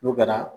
N'o kɛra